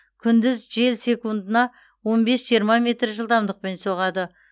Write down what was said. күндіз жел секундына он бес жиырма метр жылдамдықпен соғады